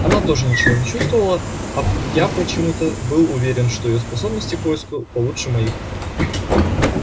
она тоже ничего не чувствовала а я почему-то был уверен что её способности к поиску получше моих